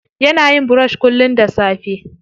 Yana yin brush kullum da safe.